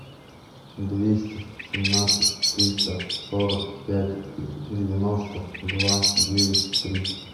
двести семнадцать триста сорок пять девяносто два девять три